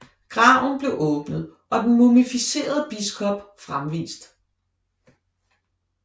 Graven blev åbnet og den mumificerede biskop fremvist